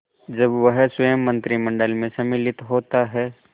जब वह स्वयं मंत्रिमंडल में सम्मिलित होता है